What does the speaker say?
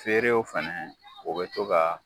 Feerew fana o bɛ to ka